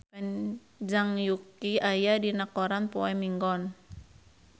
Zhang Yuqi aya dina koran poe Minggon